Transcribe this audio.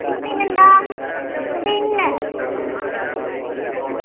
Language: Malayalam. പിന്നെന്താ വിണ്ണ്